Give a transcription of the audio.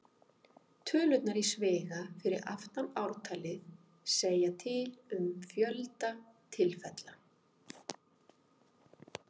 Tölurnar í sviga fyrir aftan ártalið segja til um fjölda tilfella.